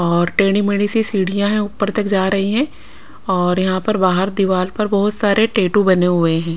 और टेढ़ी मेढ़ी सी सीढ़ियां हैं ऊपर तक जा रही हैं और यहां पर बाहर दीवार पर बहुत सारे टैटू बने हुए हैं।